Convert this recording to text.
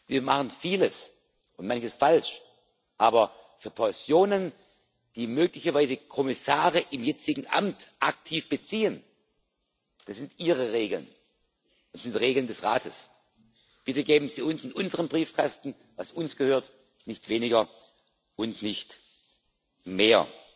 Wir machen vieles und manches falsch, aber für Pensionen, die möglicherweise Kommissare im jetzigen Amt aktiv beziehen das sind Ihre Regeln und Regeln des Rates. Bitte geben Sie uns in unseren Briefkasten, was uns gehört, nicht weniger und nicht mehr.